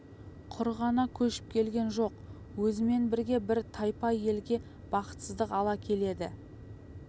құр ғана көшіп келген жоқ өзімен бірге бір тайпа елге бақытсыздық ала келеді